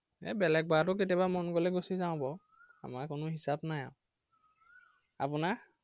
এৰ বেলেগবাৰতো কেতিয়াবা মন গ'লে গুছি যাও বাৰু। আমাৰ কোনো হিচাপ নাই আৰু। আপোনাৰ